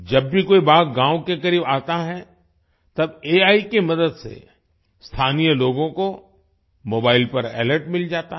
जब भी कोई बाघ गांव के करीब आता है तब एआई की मदद से स्थानीय लोगों को मोबाईल पर अलर्ट मिल जाता है